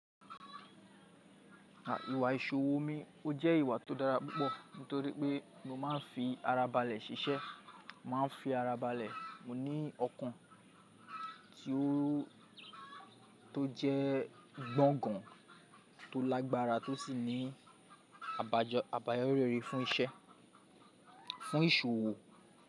Ìwà ìṣòwò omi ọ jẹ́ ìwà tó dára púpọ̀ nítorí pé mo máa ń fi ara balẹ̀ ṣiṣẹ́, màá ń fi ara balẹ̀. Mo ní ọkàn ti o tó jẹ́ gbọ́ngàn, tó lágbára tó sì ní àbáyọri rere fún iṣẹ́, fún ìṣòwò.